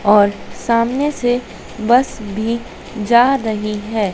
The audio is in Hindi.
और सामने से बस भी जा रही है।